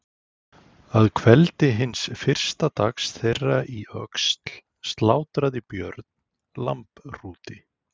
Að kveldi hins fyrsta dags þeirra í Öxl slátraði Björn lambhrúti.